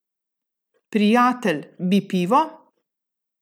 Prijatelj, bi pivo?